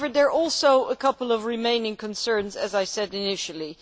However there are also a couple of remaining concerns, as I said initially.